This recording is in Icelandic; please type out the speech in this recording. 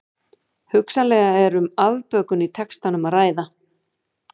Hugsanlega er um afbökun í textanum að ræða.